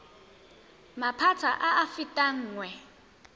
maphata a a fetang nngwe